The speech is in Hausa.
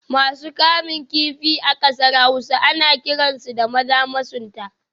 Masu kamun kifi a kasar Hausa ana kiransu da Maza masunta